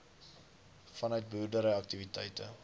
vanuit boerdery aktiwiteite